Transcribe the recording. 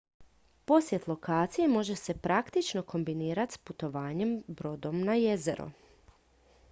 posjet lokaciji može se praktično kombinirati s putovanjem brodom na jezero